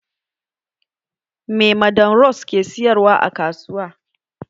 Me madam rose ke sayarwa a kasuwa?